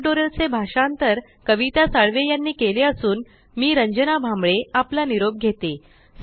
या टयूटोरियल चे भाषांतर कविता साळवे यांनी केलेले असून मी रंजना भांबळे आपला निरोप घेते